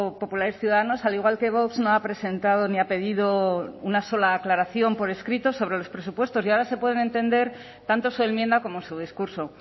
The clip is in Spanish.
populares ciudadanos al igual que vox no ha presentado ni ha pedido una sola aclaración por escrito sobre los presupuestos y ahora se pueden entender tanto su enmienda como su discurso